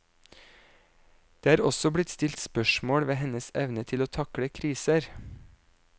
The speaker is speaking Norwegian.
Det er også blitt stilt spørsmål ved hennes evne til å takle kriser.